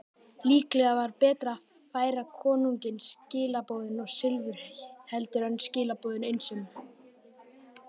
Líklega var betra að færa konungi skilaboðin og silfur heldur en skilaboðin einsömul.